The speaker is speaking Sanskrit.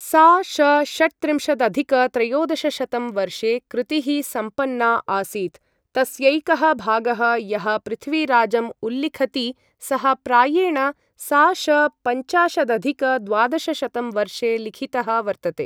सा.श.षट्त्रिंशदधिक त्रयोदशशतं वर्षे कृतिः सम्पन्ना आसीत्, तस्यैकः भागः यः पृथ्वीराजम् उल्लिखति सः प्रायेण सा.श.पञ्चाशदधिक द्वादशशतं वर्षे लिखितः वर्तते।